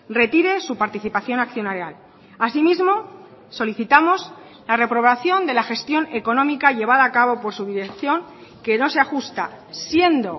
retire su participación accionarial asimismo solicitamos la reprobación de la gestión económica llevada a cabo por su dirección que no se ajusta siendo